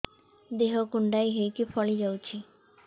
ଦେହ କୁଣ୍ଡେଇ ହେଇକି ଫଳି ଯାଉଛି